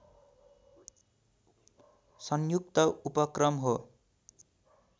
संयुक्त उपक्रम हो